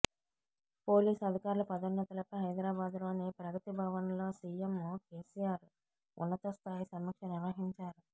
police అధికారుల పదోన్నతులపై హైదరాబాద్ లోని ప్రగతి భవన్లో సీఎం కేసీఆర్ ఉన్నత స్థాయి సమీక్ష నిర్వహించారు